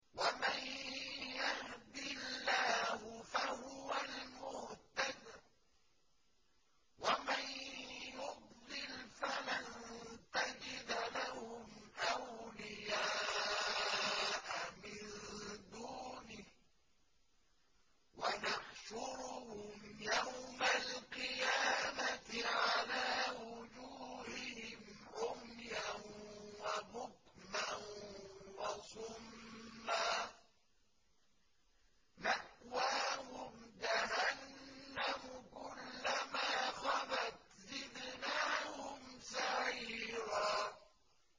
وَمَن يَهْدِ اللَّهُ فَهُوَ الْمُهْتَدِ ۖ وَمَن يُضْلِلْ فَلَن تَجِدَ لَهُمْ أَوْلِيَاءَ مِن دُونِهِ ۖ وَنَحْشُرُهُمْ يَوْمَ الْقِيَامَةِ عَلَىٰ وُجُوهِهِمْ عُمْيًا وَبُكْمًا وَصُمًّا ۖ مَّأْوَاهُمْ جَهَنَّمُ ۖ كُلَّمَا خَبَتْ زِدْنَاهُمْ سَعِيرًا